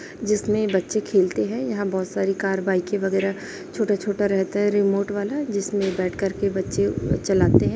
जिसमें बच्चे खेलते है यहाँ बहोत सारी कार बाईकें वगैरा छोटा-छोटा रहता है रिमोट वाला जिसमें बैठ कर के बच्चे चलाते है।